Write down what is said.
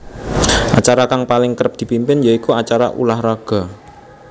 Acara kang paling kerep dipimpin ya iku acara ulah raga